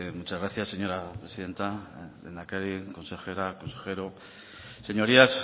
muchas gracias señora presidenta lehendakari consejera consejero señorías